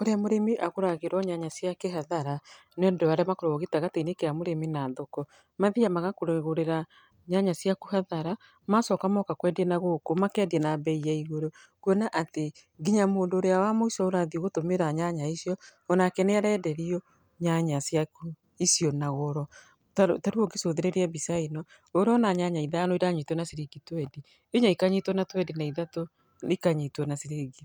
Ũrĩa mũrĩmi agũragĩrũo nyanya ciake hathara nĩ ũndũ wa arĩa makoragũo gatagatĩinĩ wa mũrĩmi na thoko mathiaga magakũgũrĩra nyanya ciaku hathara, macoka moka kwendia nagũkũ makendia na bei ya igũrũ, kuona atĩ nginya mũndũ ũrĩa wa mũico ũrathiĩ gũtũmĩra nyanya icio onake nĩ arenderio nyanya icio na goro. Ta rĩu ũngĩcũthĩrĩria mbica ta ĩno, ũrona nyanya ithano iranyitũo na ciringi twenty, inya ikanyitũo na twenty na ithatu ikanyitũo na ciringi,